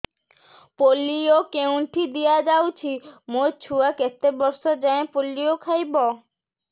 polio କେଉଁଠି ଦିଆଯାଉଛି ମୋ ଛୁଆ କେତେ ବର୍ଷ ଯାଏଁ ପୋଲିଓ ଖାଇବ